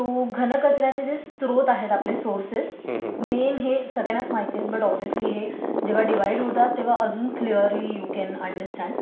घनकचऱ्याचे जे स्रोत आहेत आपले सोर्सेस मेन हे सगळ्यांनाच माहित आहेत पण साहजिकच हे जेंव्हा डिव्हाइड होतात तेंव्हा क्लिअरली यू कॅन अंडरस्टॅंड हां